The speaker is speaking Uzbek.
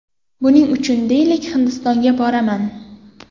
Buning uchun, deylik, Hindistonga boraman.